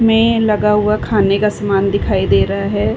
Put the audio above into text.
में लगा हुआ खाने का समान दिखाई दे रहा है।